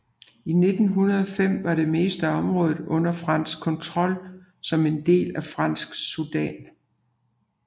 I 1905 var det meste af området under fransk kontrol som en del af Fransk Sudan